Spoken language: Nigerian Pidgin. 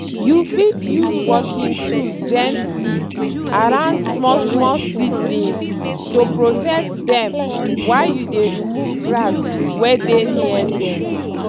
you fit use working tools gently around small-small seedlings to protect dem while you dey remove grass wey dey near dem.